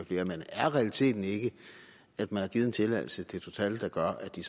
flere men er realiteten ikke at man har givet en tilladelse til total der gør at de